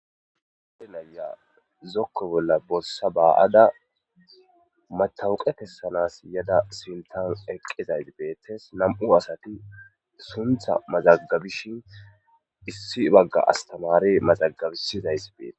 Issi naya zokko bolla borissa baa'ada matawuqe kessanas yada sintan eqqizay beettes namu'u asati suntha mazagabishin issi bagga astamare mazagabisizays beetes.